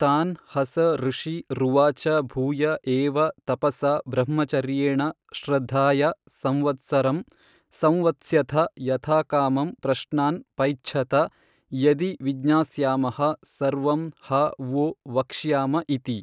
ತಾನ್ ಹಸ ಋಷಿ ರುವಾಚ ಭೂಯ ಏವ ತಪಸಾ ಬ್ರಹ್ಮಚರ್ಯೇಣ ಶ್ರದ್ಧಯಾ ಸಂವತ್ಸರಂ ಸಂವತ್ಸ್ಯಥ ಯಥಾಕಾಮಂ ಪ್ರಶ್ನಾನ್ ಪೈಚ್ಛತ ಯದಿ ವಿಜ್ಞಾಸ್ಯಾಮಃ ಸರ್ವಂ ಹ ವೋ ವಕ್ಷ್ಯಾಮ ಇತಿ।